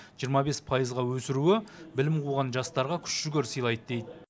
жиырма бес пайызға өсіруі білім қуған жастарға күш жігер сыйлады дейді